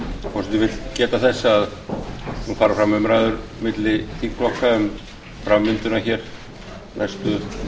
forseti vill geta þess að nú fara fram umræður milli þingflokka um framvinduna næstu